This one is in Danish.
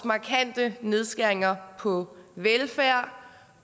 markante nedskæringer på velfærd